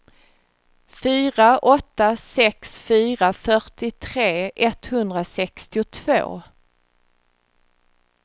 fyra åtta sex fyra fyrtiotre etthundrasextiotvå